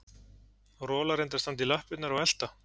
Rola reyndi að standa í lappirnar og elta